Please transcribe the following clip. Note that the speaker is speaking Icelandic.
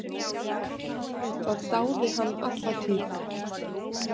Það dáði hann alla tíð.